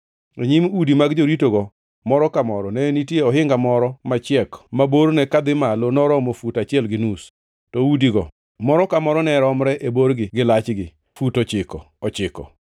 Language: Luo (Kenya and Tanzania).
E nyim udi mag joritogo moro ka moro, ne nitie ohinga moro machiek ma borne kadhi malo noromo fut achiel gi nus, to udigo, moro ka moro, ne romre e borgi gi lachgi, fut ochiko ochiko.